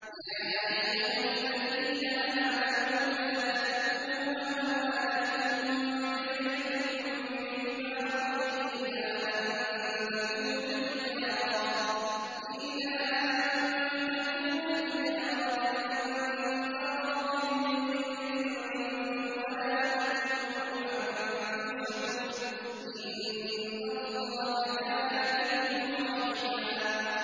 يَا أَيُّهَا الَّذِينَ آمَنُوا لَا تَأْكُلُوا أَمْوَالَكُم بَيْنَكُم بِالْبَاطِلِ إِلَّا أَن تَكُونَ تِجَارَةً عَن تَرَاضٍ مِّنكُمْ ۚ وَلَا تَقْتُلُوا أَنفُسَكُمْ ۚ إِنَّ اللَّهَ كَانَ بِكُمْ رَحِيمًا